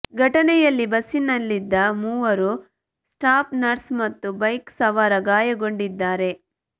ಘಟನೆಯಲ್ಲಿ ಬಸ್ಸಿನಲ್ಲಿದ್ದ ಮೂವರು ಸ್ಟಾಪ್ ನರ್ಸ್ ಮತ್ತು ಬೈಕ್ ಸವಾರ ಗಾಯಗೊಂಡಿದ್ದಾರೆ